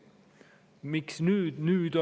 Miks nüüd?